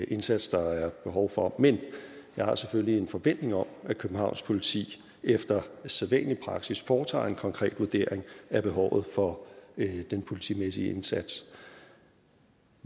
indsats der er behov for men jeg har selvfølgelig en forventning om at københavns politi efter sædvanlig praksis foretager en konkret vurdering af behovet for den politimæssige indsats